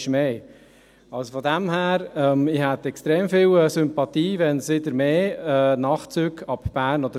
Ich hätte extrem viel Sympathie, wenn es wieder Nachtzüge ab Bern gäbe.